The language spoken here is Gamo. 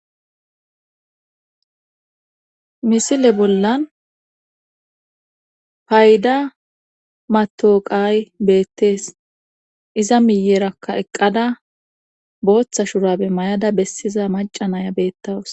Misile bollan payda matooqay beettees iza miyerakka eqqada booththa shurabe mayada bessiza macanaya beettawus.